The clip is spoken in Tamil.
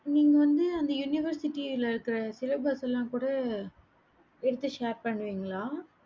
நீங்க வந்து அந்த university ல இருக்கற syllabus கூட எடுத்து share பண்ணுவிங்கள